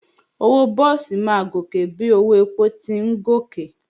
Owó búùsì máa gòkè bí owó èpò ti ń gòkè